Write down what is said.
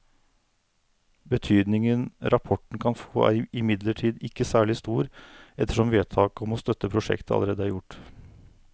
Betydningen rapporten kan få er imidlertid ikke særlig stor ettersom vedtaket om å støtte prosjektet allerede er gjort.